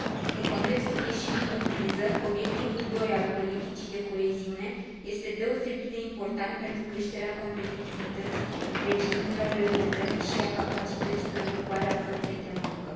În contextul ieșirii din criză, obiectivul doi al politicii de coeziune este deosebit de important pentru creșterea competitivității regiunilor europene și a capacității de ocupare a forței de muncă.